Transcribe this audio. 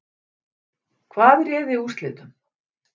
Hvað réði úrslitum?